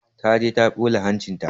Ta je ta ɓula hancinta.